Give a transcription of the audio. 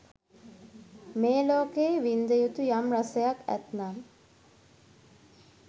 මේ ලෝකයේ වින්ද යුතු යම් රසයක් ඇත්නම්